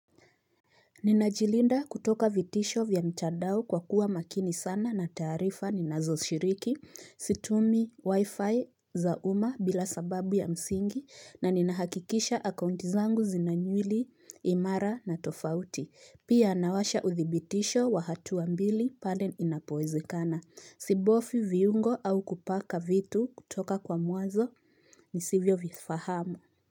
Ninajilinda kutoka vitisho vya mtandao kwa kuwa makini sana na taarifa ninazoshiriki, situmi wi-fi za umma bila sababu ya msingi na ninahakikisha akaunti zangu zina nywili imara na tofauti. Pia anawasha uthibitisho wa hatua mbili pale inapowezekana. Sibofyi viungo au kupaka vitu kutoka kwa muazo nisivyovifahamu.